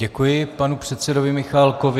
Děkuji panu předsedovi Michálkovi.